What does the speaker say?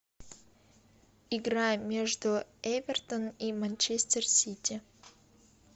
игра между эвертон и манчестер сити